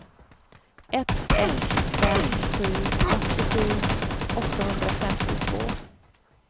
ett ett fem sju åttiosju åttahundrafemtiotvå